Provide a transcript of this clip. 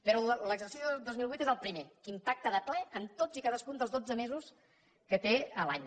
però l’exercici dos mil vuit és el primer en què impacta de ple en tots i cadascun dels dotze mesos que té l’any